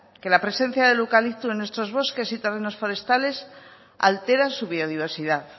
que la presencia del eucalipto en nuestros bosques y terrenos forestales altera su biodiversidad